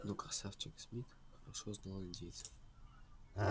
но красавчик смит хорошо знал индейцев